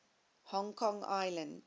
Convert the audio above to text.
hong kong island